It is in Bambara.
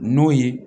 N'o ye